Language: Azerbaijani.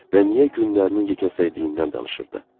Və niyə günlərinin yeknəsəyiliyindən danışırdı?